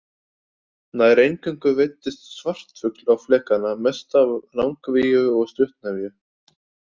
Nær eingöngu veiddist svartfugl á flekana, mest af langvíu og stuttnefju.